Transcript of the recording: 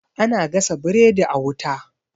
ana gasa biredi a wuta